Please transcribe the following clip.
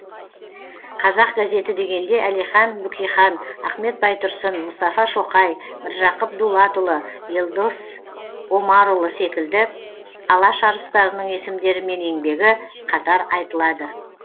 қазақ газеті дегенде әлихан бөкейхан ахмет байтұрсын мұстафа шоқай мыржақып дулатұлы елдос омарұлы секілді алаш арыстарының есімдері мен еңбегі қатар айтылады